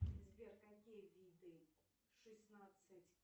сбер какие виды шестнадцать